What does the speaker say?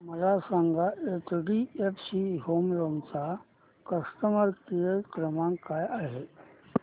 मला सांगा HDFC home loan चा कस्टमर केअर क्रमांक काय आहे